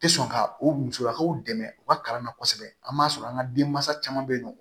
Tɛ sɔn ka o musolakaw dɛmɛ u ka kalan na kosɛbɛ an b'a sɔrɔ an ka denmansa caman bɛ yen nɔ